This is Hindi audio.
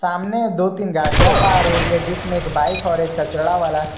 सामने दो तीन गाड़ियां पार हो रही है जिसमें एक बाइक और एक कचरा वाला--